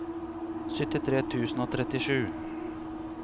syttitre tusen og trettisju